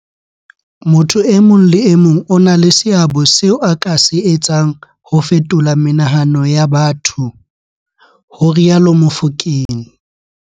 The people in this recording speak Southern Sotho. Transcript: Motho e mong le e mong o na le seabo seo a ka se etsang ho fetola menahano ya batho, ho rialo Mofokeng.